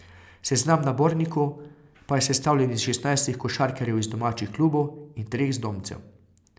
Seznam nabornikov pa je sestavljen iz šestnajstih košarkarjev iz domačih klubov in treh zdomcev.